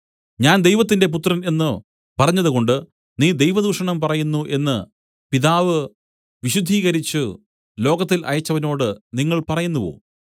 ഞാൻ ദൈവത്തിന്റെ പുത്രൻ എന്നു പറഞ്ഞതുകൊണ്ട് നീ ദൈവദൂഷണം പറയുന്നു എന്നു പിതാവ് വിശുദ്ധീകരിച്ചു ലോകത്തിൽ അയച്ചവനോട് നിങ്ങൾ പറയുന്നുവോ